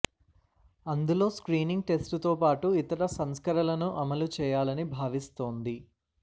అందులో స్క్రీనింగ్ టెస్టుతో పాటు ఇతర సంస్కరణలను అమలు చేయాలని భావిస్తోంది